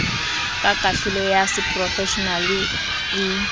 ka kahlolo ya seporofeshenale e